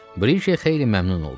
Brike xeyli məmnun oldu.